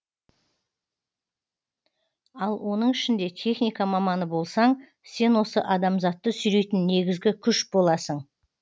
ал оның ішінде техника маманы болсаң сен осы адамзатты сүйрейтін негізгі күш боласың